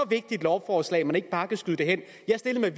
vigtigt lovforslag at man ikke bare kan skyde det hen jeg stillede